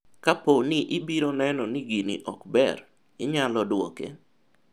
kapo ni ibiro neno ni gini ok ber, inyalo dwoke?